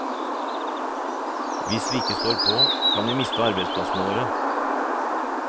Hvis vi ikke står på, kan vi miste arbeidsplassene våre.